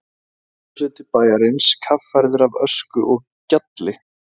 Austurhluti bæjarins kaffærður af ösku og gjalli.